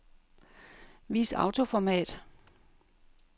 Vis autoformat.